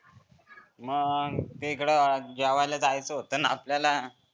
मग तीकड जेवायला जायचा होताना आपल्याला.